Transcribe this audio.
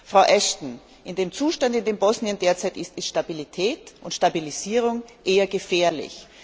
Frau Ashton, bei dem Zustand, in dem Bosnien derzeit ist, sind Stabilität und Stabilisierung eher gefährlich.